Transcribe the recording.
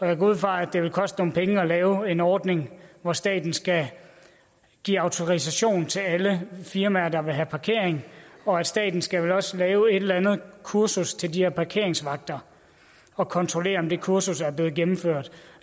jeg går ud fra at det vil koste nogle penge at lave en ordning hvor staten skal give autorisation til alle firmaer der vil have parkering og staten skal vel også lave et eller andet kursus til de her parkeringsvagter og kontrollere om det kursus er blevet gennemført